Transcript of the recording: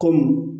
Kɔmi